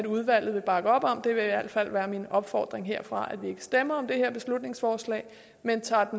udvalget bakker op om det vil i alt fald være min opfordring herfra at vi ikke stemmer om det her beslutningsforslag man tager